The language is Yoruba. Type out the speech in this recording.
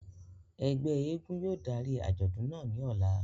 Ẹgbẹ èègún yóò dari ajọdun naa ni ọla.